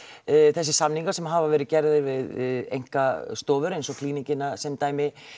þessir samningar sem hafa verið gerðir við einkastofur eins og Klíníkina sem dæmi